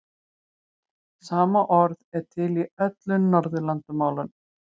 Sama orð er til í öðrum Norðurlandamálum.